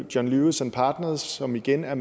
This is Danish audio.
john lewis and partners som igen er